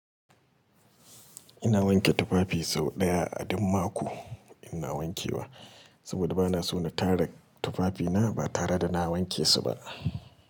Ina wanke tufafi sau ɗaya a duk mako ina wankewa. Saboda bana so na tara tufafina ba tare da na wanke su ba.